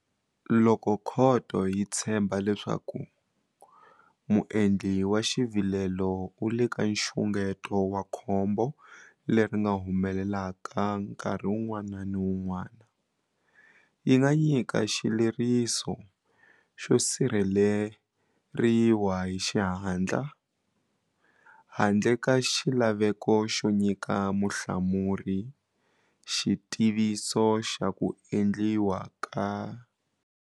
Loko khoto yi tshemba leswaku muendli wa xivilelo u le ka nxungeto wa khombo leri nga humelelaka nkarhi wun'wana ni wun'wana, yi nga nyika xileriso xo sirheleriwa hi xihatla handle ka xilaveko xo nyika muhlamuri xitiviso xa ku endliwa xa xileriso xolexo.